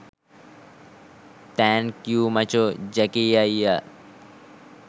thank you මචෝ Jackie අයියා